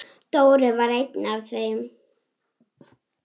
Dóri var einn af þeim.